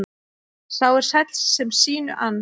Sá er sæll sem sínu ann.